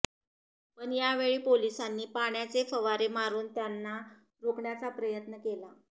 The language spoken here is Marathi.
पण यावेळी पोलिसांनी पाण्याचे फवारे मारून त्यांना रोखण्याचा प्रयत्न केला